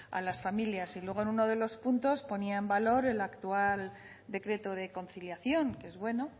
a las familias y luego en uno de los puntos ponía en valor el actual decreto de conciliación que es bueno